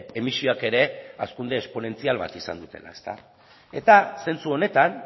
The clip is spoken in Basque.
emisioak ere hazkunde esponentzial bat izan dutela eta zentzu honetan